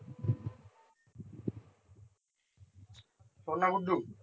শোন্ না গুড্ডু